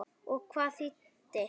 Og hvað það þýddi.